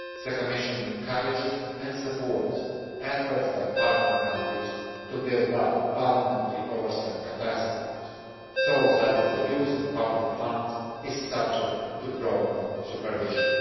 The Commission encourages and supports efforts by partner countries to build up parliamentary oversight capacities so that the use of public funds is subject to proper supervision.